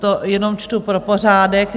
To jenom čtu pro pořádek.